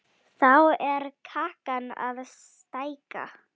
Þá er kakan að stækka.